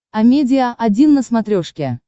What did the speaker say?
амедиа один на смотрешке